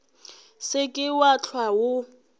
se ke wa hlwa o